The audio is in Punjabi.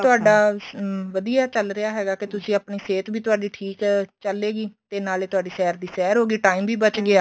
ਤੁਹਾਡਾ ਵਧੀਆ ਚੱਲ ਰਿਹਾ ਹੈਗਾ ਕੇ ਤੁਸੀਂ ਆਪਣੀ ਸਿਹਤ ਵੀ ਤੁਹਾਡੀ ਠੀਕ ਏ ਚਲੇਗੀ ਤੇ ਨਾਲੇ ਤੁਹਾਡੀ ਸੈਰ ਦੀ ਸੈਰ ਹੋਗੀ time ਵੀ ਬਚ ਗਿਆ